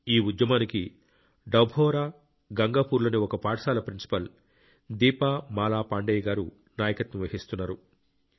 ఈ ఉద్యమానికి డభౌర గంగాపూర్లోని ఒక పాఠశాల ప్రిన్సిపాల్ దీప మాలా పాండేయ గారు నాయకత్వం వహిస్తున్నారు